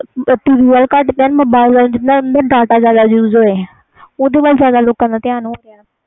T V ਵਲ ਘਟ ਧਿਆਨ mobile ਵਲ ਜਿਨ੍ਹਾਂ ਜਿਆਦਾ data use ਹੋਵੇ ਓਹਦੇ ਵਾਲ ਲੋਕਾਂ ਦਾ ਧਿਆਨ ਆ